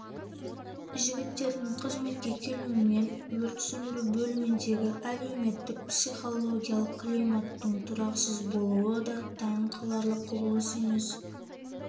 жігіттердің қызметке келуімен өрт сөндіру бөліміндегі әлеуметтік-психологиялық климаттың тұрақсыз болуы да таң қаларлық құбылыс емес